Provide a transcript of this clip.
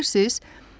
Bilirsiniz?